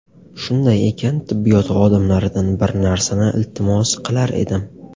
Shunday ekan, tibbiyot xodimlaridan bir narsani iltimos qilar edim.